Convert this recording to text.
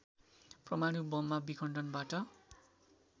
परमाणु बममा विखण्डनबाट